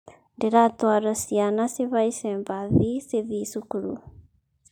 Ndĩ ratwara ciana cihaice mbathi cithĩĩ cukuru